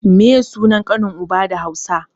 Meye sunan kanin uba da Hausa?